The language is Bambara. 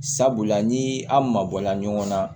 Sabula ni aw mabɔla ɲɔgɔn na